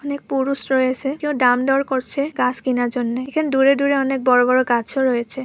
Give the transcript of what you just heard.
অনেক পুরুষ রয়েসে কেউ দাম দর করসে গাস কেনার জন্যে এখানে দূরে দূরে অনেক বড়ো বড়ো গাছও রয়েছে ।